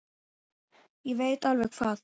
Ég veit alveg hvað